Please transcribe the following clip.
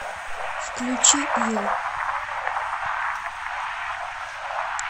включи ю